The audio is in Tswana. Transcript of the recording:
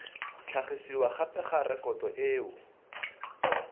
tlhagisiwa gape ga rekoto eo